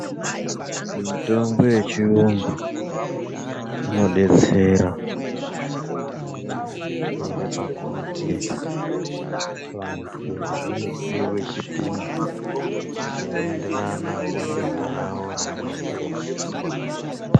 Mitombo yechiyungu inodetsera pakuti vantu vanopiwe chipimo chinoenderana nedenda rawo reanenge echizwa.